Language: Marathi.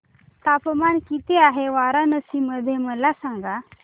तापमान किती आहे वाराणसी मध्ये मला सांगा